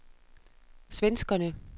svenskerne